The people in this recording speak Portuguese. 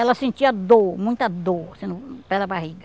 Ela sentia dor, muita dor pela barriga.